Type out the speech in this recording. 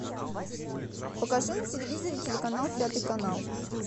покажи на телевизоре телеканал пятый канал